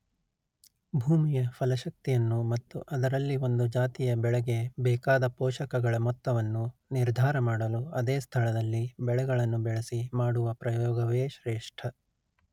ಭೂಮಿಯ ಫಲಶಕ್ತಿಯನ್ನು ಮತ್ತು ಅದರಲ್ಲಿ ಒಂದು ಜಾತಿಯ ಬೆಳೆಗೆ ಬೇಕಾದ ಪೋಷಕಗಳ ಮೊತ್ತವನ್ನು ನಿರ್ಧಾರ ಮಾಡಲು ಅದೇ ಸ್ಥಳದಲ್ಲಿ ಬೆಳೆಗಳನ್ನು ಬೆಳೆಸಿ ಮಾಡುವ ಪ್ರಯೋಗವೇ ಶ್ರೇಷ್ಠ